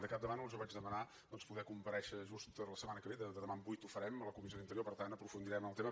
de campdevànol jo vaig demanar poder comparèixer just la setmana que ve de demà en vuit ho farem a la comissió d’interior per tant aprofundirem en el tema